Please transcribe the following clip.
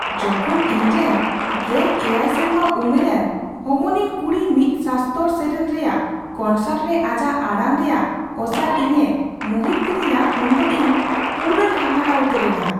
ᱡᱚᱠᱷᱚᱱ ᱤᱧᱨᱮᱱ ᱑᱗ ᱥᱮᱨᱢᱟ ᱩᱢᱮᱨᱟᱱ ᱦᱚᱢᱚᱱᱤᱧ ᱠᱩᱲᱤ ᱢᱤᱫ ᱥᱟᱥᱛᱚᱨ ᱥᱮᱨᱮᱧ ᱨᱮᱭᱟᱜ ᱠᱚᱱᱥᱟᱨᱴ ᱨᱮ ᱟᱡᱟᱜ ᱟᱲᱟᱝ ᱨᱮᱭᱟᱜ ᱚᱥᱟᱨ ᱤᱧᱮ ᱢᱚᱦᱤᱛ ᱠᱤᱫᱤᱧᱟ ᱩᱱᱫᱚ ᱤᱧ ᱯᱩᱨᱟᱹᱧ ᱦᱟᱦᱟᱲᱟᱜ ᱩᱛᱟᱹᱨᱮᱱᱟ ᱾